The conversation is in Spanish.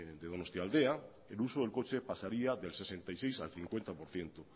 de donostialdea el uso del coche pasaría del sesenta y seis al cincuenta por ciento